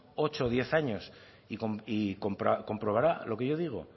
ocho o diez años y comprobará lo que yo digo